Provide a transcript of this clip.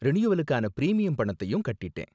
ரினியூவலுக்கான premium பணத்தையும் கட்டிட்டேன்.